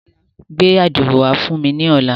Gbẹ ạdiro wa fun mi ni ọla.